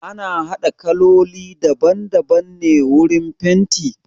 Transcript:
Ana haɗa kaloli daban daban ne wurin fenti?